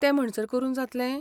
ते म्हणसर करून जातलें?